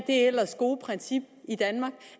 ellers gode princip i danmark